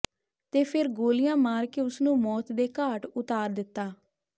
ਤੇ ਫਿਰ ਗੋਲੀਆਂ ਮਾਰ ਕੇ ਉਸਨੂੰ ਮੌਤ ਦੇ ਘਾਟ ਉਤਾਰ ਦਿੱਤਾ